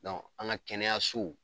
an ka kɛnɛyaso.